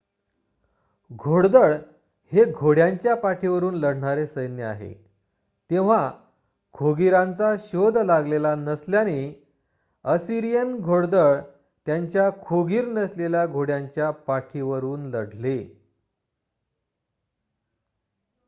घोडदळ हे घोड्यांच्या पाठीवरून लढणारे सैन्य आहे तेव्हा खोगीरांचा शोध लागलेला नसल्याने असिरियन घोडदळ त्यांच्या खोगीर नसलेल्या घोड्यांच्या पाठीवरून लढले